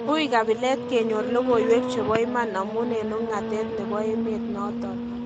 Ui kabilet kenyor logoiwek chebo iman amun en wungatet nebo emet noton